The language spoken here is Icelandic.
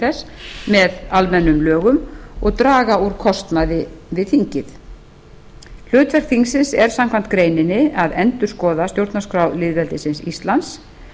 þess með almennum lögum og draga úr kostnaði við þingið hlutverk þingsins er samkvæmt greininni að endurskoða stjórnarskrá lýðveldisins íslands